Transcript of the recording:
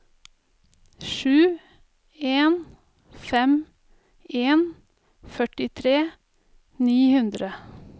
sju en fem en førtitre ni hundre